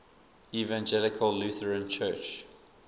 evangelical lutheran church